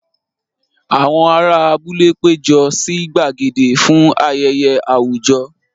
Àwọn ará abúlé péjọ sí gbàgede fún ayẹyẹ àwùjọ.